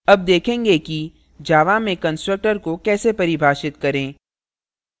अब देखेंगे कि java में constructor को कैसे परिभाषित करें